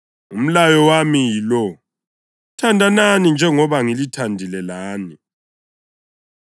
Umlayo wami yilo: Thandanani njengoba ngilithandile lani.